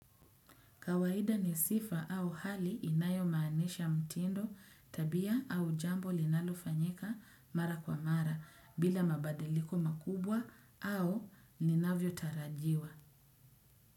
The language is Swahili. Kawaida ni sifa au hali inayomaanisha mtindo, tabia au jambo linalofanyika mara kwa mara bila mabadiliko makubwa au ninavyo tarajiwa.